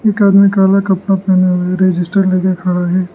एक आदमी काला कपड़ा पहने हुए रजिस्टर लेके खड़ा है।